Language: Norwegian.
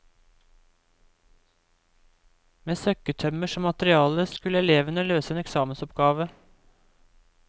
Med søkketømmer som materiale, skulle elevene løse en eksamensoppgave.